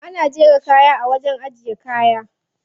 Ana jera kaya a wajen ajiye kaya.